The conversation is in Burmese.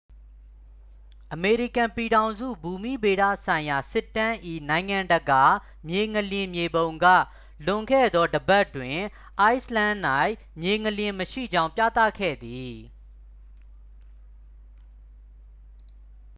အမေရိကန်ပြည်ထောင်စု ဘူမိဗေဒဆိုင်ရာ စစ်တမ်း၏ နိုင်ငံတကာ မြေငလျင် မြေပုံက လွန်ခဲ့သော တစ်ပတ်တွင် အိုက်စ်လန်၌ မြေငလျင်မရှိကြောင်း ပြသခဲ့သည်